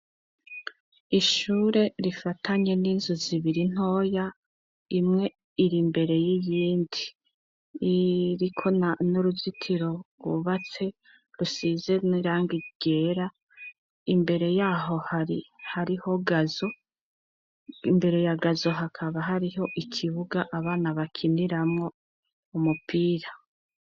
Ishure rifatanye n'inzu zibiri ntoya imwe iri mbere y'ibindi iriko n n'uruzitiro rubatse rusize n'iranga igera imbere yaho hrihariho gzo imbere ya gazo hakaba hariho iki kibuga abana bakiniramwo umupira.